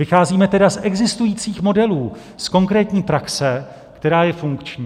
Vycházíme tedy z existujících modelů z konkrétní praxe, která je funkční.